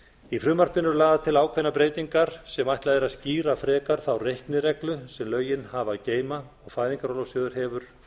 í frumvarpinu eru lagðar til ákveðnar breytingar sem ætlað er að skýra frekar þá reiknireglu sem lögin hafa að geyma og fæðingarorlofssjóður hefur